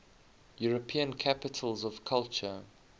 european capitals of culture